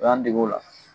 O y'an dege o la